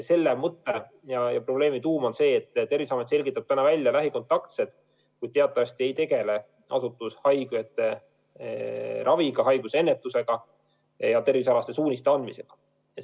Selle mõte ja probleemi tuum on see, et Terviseamet selgitab praegu küll välja lähikontaktsed, kuid teatavasti ei tegele see asutus haigete raviga, haiguse ennetusega ja tervisealaste suuniste andmisega.